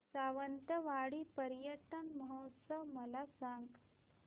सावंतवाडी पर्यटन महोत्सव मला सांग